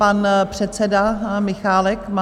Pan předseda Michálek má...